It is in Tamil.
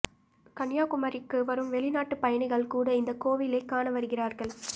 கன்னியாகுமரிக்கு வரும் வெளிநாட்டு பயணிகள் கூட இந்த கோவிலை காண வருகிறார்கள்